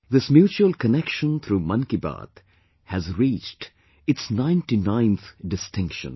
This mutual connection through Mann Ki Baat has reached its ninetyninth 99th distinction